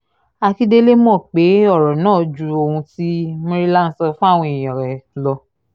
akíndélé mọ̀ pé ọ̀rọ̀ náà ju ohun tí murila ń sọ fáwọn èèyàn lọ